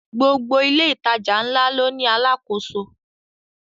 Gbogbo ilé ìtajà ńlá ló ní àlákoso